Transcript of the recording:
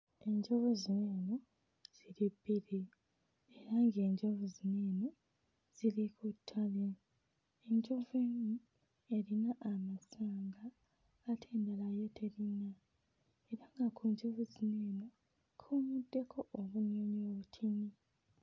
Enjovu zino eno ziri bbiri era ng'enjovu zino eno ziri ku ttale. Enjovu emu erina amasanga ate endala yo terina era nga ku njovu zino eno kuyimiriddeko obunyonyi obutono.